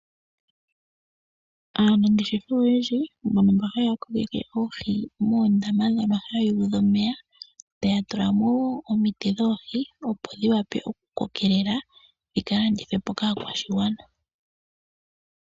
Aanangeshefa oyendji mbono mba haya kokeke oohi moondama dhono hayuudha omeya, taya tulamo wo omiti dhoohi opo dhi wape oku kokelela dhika landithwe po kaakwashigwana.